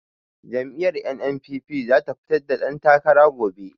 Jam'iyyar NNPP za ta fitar da dantakara gobe.